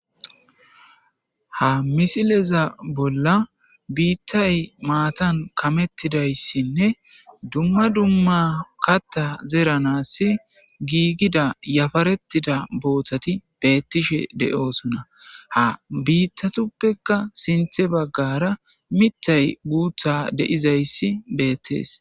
ha misileza bolla biittay maatan kamettidayssinne dumma dumma katta zeeranass giigida yafarettida boothati beettishe de'oosona ha biittatuppekka sinthe baggara mittay guutha de'izayssi beettees